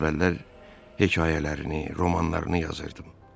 Əvvəllər hekayələrini, romanlarını yazırdım.